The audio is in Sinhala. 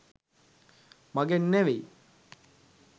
මගෙන් නෙවෙයි.